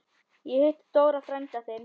Ég hitti Dóra frænda þinn.